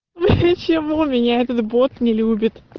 чем у меня этот бот не люби